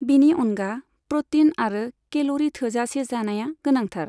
बिनि अनगा, प्र'टीन आरो केल'री थोजासे जानाया गोनांथार।